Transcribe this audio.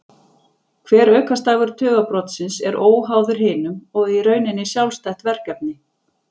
Hver aukastafur tugabrotsins er óháður hinum og í rauninni sjálfstætt verkefni.